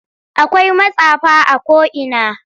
Akwai matsafa a ko'ina.